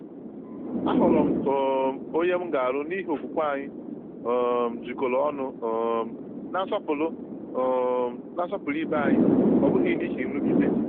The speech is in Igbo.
Ahọọrọ m um onye m ga-alụ n’ihi okwukwe anyị um jikọrọ ọnụ um na nsọpụrụ um na nsọpụrụ ibe anyị, ọ bụghị n’ihi nrụgide.